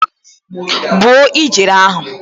Gbuo ijere ahụ!